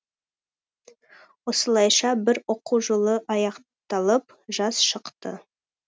осылайша бір оқу жылы аяқталып жаз шықты